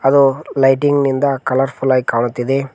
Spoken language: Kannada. ಅದು ಲೈಟಿಂಗ್ ನಿಂದ ಕಲರ್ಫುಲ್ ಆಗಿ ಕಾಣುತ್ತಿದೆ.